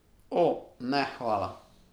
O, ne hvala!